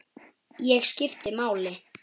Ég skipti máli.